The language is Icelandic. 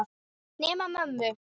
Nema mömmu.